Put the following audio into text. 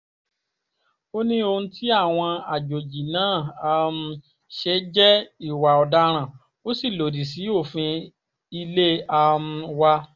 ó ní ohun tí àwọn àjòjì náà um ṣe jẹ́ ìwà ọ̀daràn ó sì lòdì sí òfin ilé um wa